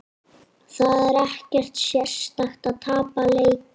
Það er ekkert sérstakt að tapa leikjum.